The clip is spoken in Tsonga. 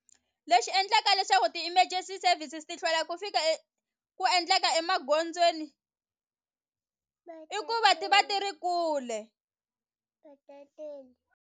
Lexi endlaka leswaku ti-emergency services ti hlwela ku fika ku endleka emagondzweni i ku va ti va ti ri kule .